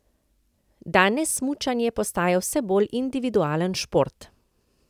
Danes smučanje postaja vse bolj individualen šport.